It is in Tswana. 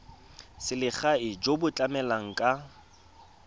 selegae jo bo tlamelang ka